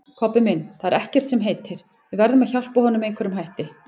Kobbi minn, það er ekkert sem heitir, við verðum að hjálpa honum með einhverjum hætti